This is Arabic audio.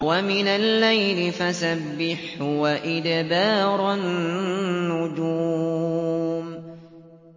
وَمِنَ اللَّيْلِ فَسَبِّحْهُ وَإِدْبَارَ النُّجُومِ